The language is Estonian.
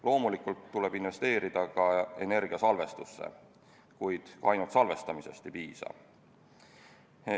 Loomulikult tuleb investeerida ka energiasalvestusse, kuid ainult salvestamisest ei piisa.